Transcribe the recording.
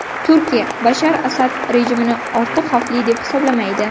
Turkiya Bashar Asad rejimini ortiq xavfli deb hisoblamaydi.